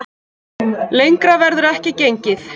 Lengra verður ekki gengið